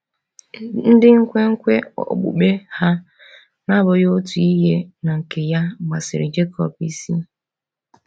Ndị nkwenkwe okpukpe ha na-abụghị otu ihe na nke ya gbasiri Jekọb isi.